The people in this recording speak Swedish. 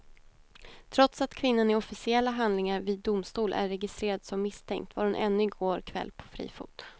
Trots att kvinnan i officiella handlingar vid domstol är registrerad som misstänkt var hon ännu i går kväll på fri fot.